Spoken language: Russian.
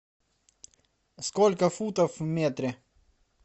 сколько футов в метре